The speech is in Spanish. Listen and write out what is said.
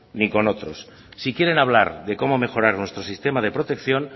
ni con otros si quieren hablar de cómo mejorar nuestro sistema de protección